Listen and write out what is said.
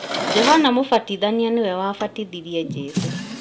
Johana mũbatithania nĩwe wabatithirie Jesũ